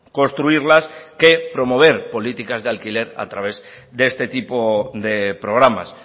construirlas que promover políticas de alquiler a través de este tipo de programas